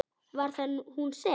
Var það hún sem.?